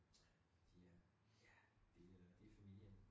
Fordi øh ja det øh det familien